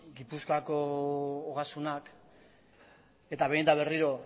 gipuzkoako ogasunak eta behin eta berriro